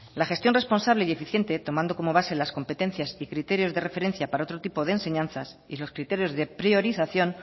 la gestión responsable y eficiente tomando como base las competencias y criterios de referencia para otro tipo de enseñanzas y los criterios de priorización